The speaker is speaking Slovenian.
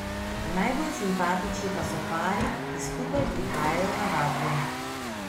Najbolj simpatični pa so pari, ki skupaj prihajajo na vadbo.